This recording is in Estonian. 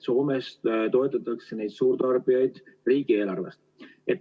Soomes toetatakse suurtarbijaid riigieelarvest.